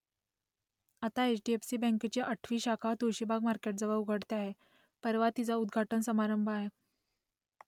आता H D F C बँकेची आठवी शाखा तुळशीबाग मार्केटजवळ उघडते आहे परवा तिचा उद्घाटन समारंभ आहे